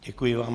Děkuji vám.